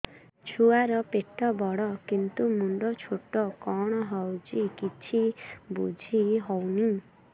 ଛୁଆର ପେଟବଡ଼ କିନ୍ତୁ ମୁଣ୍ଡ ଛୋଟ କଣ ହଉଚି କିଛି ଵୁଝିହୋଉନି